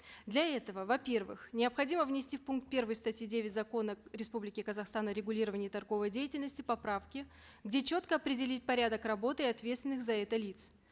для этого во первых необходимо внести в пункт первый статьи девять закона республики казахстан о регулировании торговой деятельности поправки где четко определить порядок работ и ответственных за это лиц